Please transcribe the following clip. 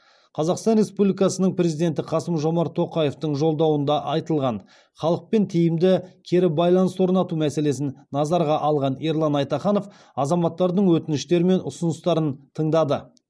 қазақстан республикасының президенті қасым жомарт тоқаевтың жолдауында айтылған халықпен тиімді кері байланыс орнату мәселесін назарға алған ерлан айтаханов азаматтардың өтініштері мен ұсыныстарын тыңдады